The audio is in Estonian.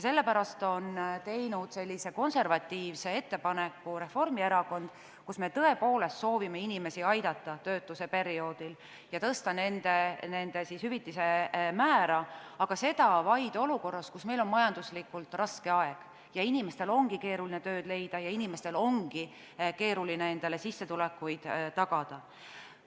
Sellepärast on Reformierakond teinud sellise konservatiivse ettepaneku, millega me tõepoolest soovime inimesi aidata töötuse perioodil ja tõsta nende hüvitise määra, aga seda vaid olukorras, kus meil on majanduslikult raske aeg ja inimestel ongi keeruline tööd leida ja endale sissetulekuid tagada.